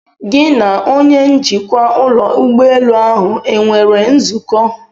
Gị na onye njikwa ụlọ ụgbọelu ahụ enwere nzukọ?